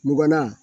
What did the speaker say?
Mugan na